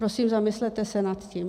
Prosím, zamyslete se nad tím.